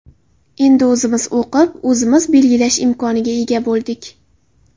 Endi o‘zimiz o‘qib, o‘zimiz belgilash imkoniga ega bo‘ldik.